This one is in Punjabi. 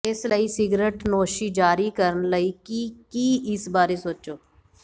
ਇਸ ਲਈ ਸਿਗਰਟਨੋਸ਼ੀ ਜਾਰੀ ਕਰਨ ਲਈ ਕਿ ਕੀ ਇਸ ਬਾਰੇ ਸੋਚੋ